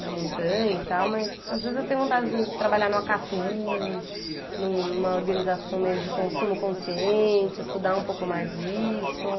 na montanha e tal, mas às vezes eu tenho vontadezinha de trabalhar no Acatu, numa organização meio de consumo consciente, estudar um pouco mais isso.